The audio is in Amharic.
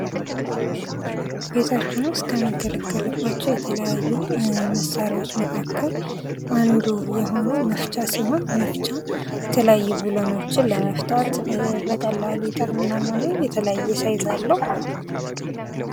ቤታችን ውስጥ ከምንገለገልባቸው የተለያዩ መሳሪያዎች መካከል አንዱ የሆነው መፍቻ ሲሆን መፍቻ የተለያዩ ብሎንዎችን ለመፍታት በቀላሉ ይጠቅማል ማለት ነው። የተለያዬ ሳይዝ አለው።